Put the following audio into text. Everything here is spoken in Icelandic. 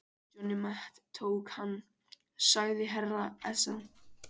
Johnny Mate tók hann, sagði herra Ezana.